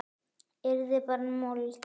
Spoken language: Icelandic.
Yrði bara mold.